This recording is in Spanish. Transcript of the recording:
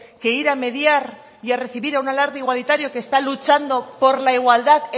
que ir a mediar y a recibir a un alarde igualitario que está luchando por la igualdad